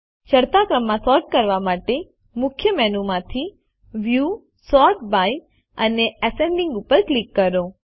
ચડતા ક્રમમાં સૉર્ટ કરવા માટે મુખ્ય મેનુ માંથી વ્યૂ સોર્ટ બાય અને એસેન્ડિંગ ઉપર ક્લિક કરો